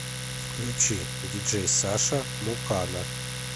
включи диджей саша мукана